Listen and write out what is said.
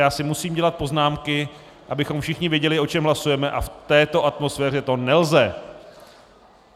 Já si musím dělat poznámky, abychom všichni věděli, o čem hlasujeme, a v této atmosféře to nelze.